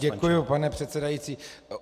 Děkuji, pane předsedající.